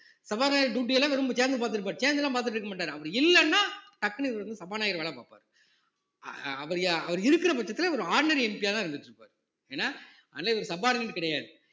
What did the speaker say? சபாநாயகர் duty எல்லாம் வெறும் chairman பார்த்திருப்பாரு சேர்ந்து எல்லாம் பார்த்துட்டு இருக்க மாட்டாரு அவரு இல்லைன்னா டக்குனு இவரு வந்து சபாநாயகர் வேலை பார்ப்பாரு அவர் இருக்கிற பட்சத்துல ஒரு ordinary MP யாதான் இருந்துட்டு இருப்பாரு ஏன்னா இவரு subordinate கிடையாது